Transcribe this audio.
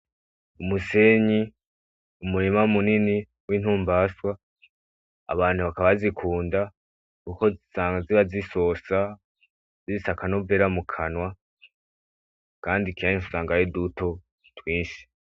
Umusenyi, umurima munini w intumbaswa zifise akamaro kuko usanga ziba zisosa kandi kenshi usanga ari duto twinshi.